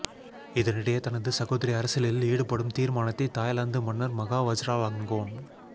இதனிடையே தனது சகோதரி அரசியலில் ஈடுபடும் தீர்மானத்தை தாய்லாந்து மன்னர் மகா வஜ்ராலங்கோன்